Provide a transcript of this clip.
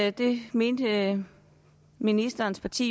at det mente ministerens parti